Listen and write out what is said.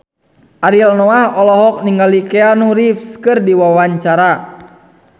Ariel Noah olohok ningali Keanu Reeves keur diwawancara